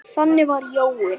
Þannig var Jói.